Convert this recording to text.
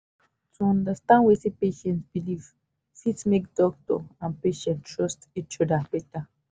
to understand wetin patient believe fit make doctor and patient trust each other better.